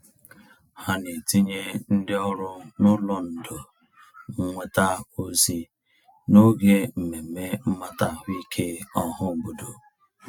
Ha na-etinye ndị ọrụ n'ụlọ ndò nnweta ozi n'oge mmemme mmata ahụike ọhaobodo.